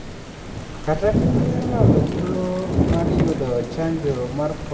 Kaka piny ne olalo thuolo mar yudo chanjo mar korona aboro.